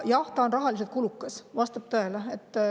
Jah, see on rahaliselt kulukas, vastab tõele.